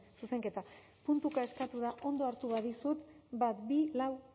zuzenketa puntuka eskatu da ondo hartu badizut bat bi lau